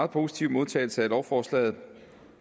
positive modtagelse af lovforslaget